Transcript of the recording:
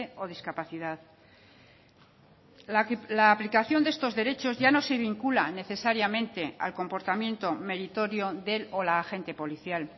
o discapacidad la aplicación de estos derechos ya no se vincula necesariamente al comportamiento meritorio del o la agente policial